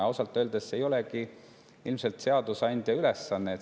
Ja ausalt öeldes ei olegi see ilmselt seadusandja ülesanne.